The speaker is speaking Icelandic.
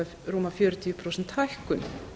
rúma fjörutíu prósent hækkun